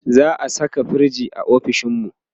za'a Saka firij ofishinmu?